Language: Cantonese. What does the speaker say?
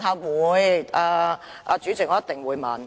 我會，主席，我一定會問。